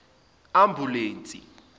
ambulense